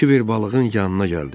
Kiber balığın yanına gəldi.